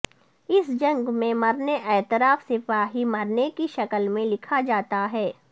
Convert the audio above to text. اس جنگ میں مرنے اعتراف سپاہی مرنے کی شکل میں لکھا جاتا ہے